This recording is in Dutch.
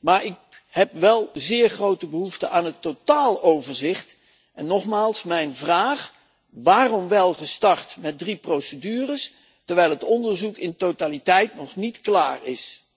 maar ik heb wel zeer grote behoefte aan het totaaloverzicht en daarom nogmaals mijn vraag waarom al wel gestart met drie procedures, terwijl het onderzoek in totaliteit nog niet klaar is?